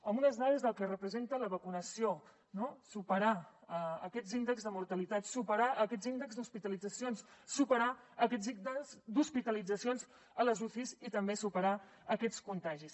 amb unes dades del que representa la vacunació no superar aquests índexs de mortalitat superar aquests índexs d’hospitalitzacions superar aquests índexs d’hospitalitzacions a les ucis i també superar aquests contagis